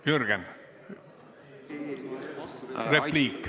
Jürgen, repliik.